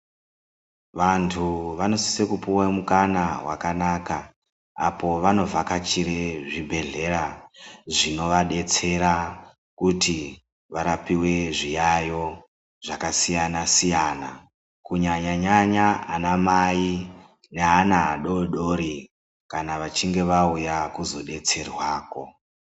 Vantu vanosiye kupuwa mukana wakanaka apo vanovhakachire zvibhedhleya zvinovadetsera kuti varapiwe zviyayo zvakasiyana siyana kunyanya nyanya anamai neana adodori kana vachinge vauya kuzodetserwako